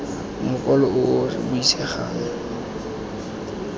mokwalo o o sa buisegeng